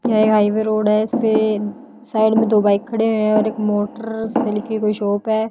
ये highway road है इस पे साइड में दो बाइक खड़े हुए हैं और एक मोटर से लिखी कोई शॉप है।